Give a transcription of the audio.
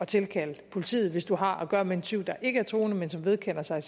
tilkalde politiet hvis du har at gøre med en tyv der ikke er truende men som vedkender sig